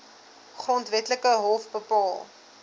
grondwetlike hof bepaal